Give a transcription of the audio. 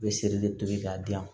U bɛ seri de tobi k'a dilan